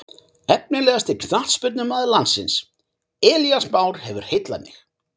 Efnilegasti knattspyrnumaður landsins: Elías Már hefur heillað mig.